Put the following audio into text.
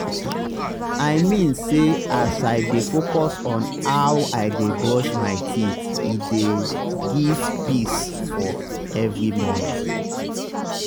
i mean say as i dey focus on how i dey brush my teethe dey give peace for every morning.